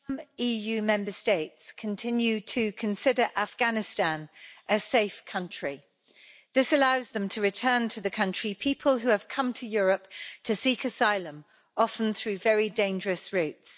Mr President, EU Member States continue to consider Afghanistan a safe country. This allows them to return to the country people who have come to Europe to seek asylum, often through very dangerous routes.